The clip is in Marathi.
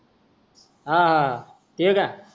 हा ते का